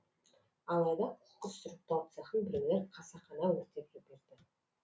алайда қоқыс сұрыптау цехын біреулер қасақана өртеп жіберді